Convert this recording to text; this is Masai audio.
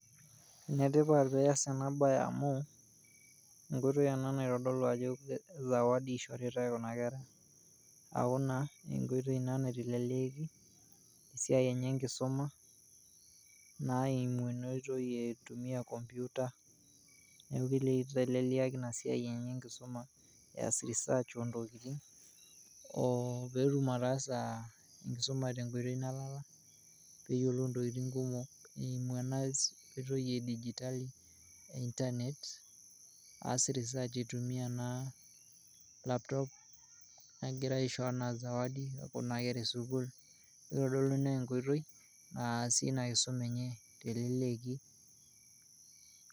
Enetipat peasi ena baye amuu nkoitoi ana naitodolu ajoo zawadi eishoritai kuna kerra aaku naa enkoitoi ina naiteleleeki siaai enye enkisuma naa eimu ina oitoi eitumikya enkompyuta amu keiteleliaki naa esiaai enye enkisuma eas research oontokitin oo peetum ataasa nkisuma te nkoitoi nalala peyiolou ntokitin kumok eimu ana oitoi edigitali internet aas research eitumiya naa laptop negira aisho anaa zawadi kuna kerra esukul neitodolu naa enkoitoi aasie naa ina nkisuma enye teleleki.